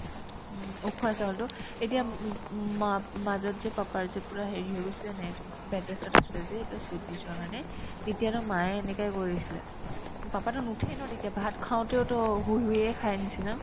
উম্, উখোৱা চাউলতো এতিয়া ওব ওম মা ~ মাজত যে papa ৰ যে পূৰা হেৰি হৈ গৈছিলে নে এইটো bed rest ত আছিলে যে এইটো slip disc ৰ কাৰণে তেতিয়াতো মায়ে এনেকাই কৰিছিলে উম papa তো নুঠে ন তেতিয়া ভাত খাওতেওতো শুই শুয়ে খাইৰ নিচিনা